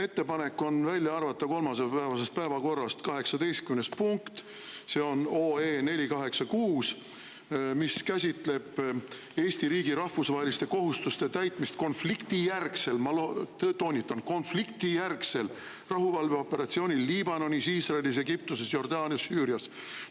Ettepanek on kolmapäevasest päevakorrast välja arvata 18. punkt, see on 486 OE, mis käsitleb Eesti riigi rahvusvaheliste kohustuste täitmist konfliktijärgsel – ma toonitan: konfliktijärgsel – rahuvalveoperatsioonil Liibanonis, Iisraelis, Egiptuses, Jordaanias ja Süürias.